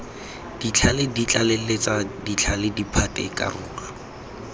ditlhale ditlaleletsa ditlhale diphate dikarolo